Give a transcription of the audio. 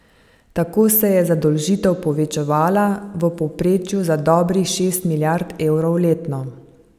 Tako se je zadolžitev povečevala v povprečju za dobrih šest milijard evrov letno.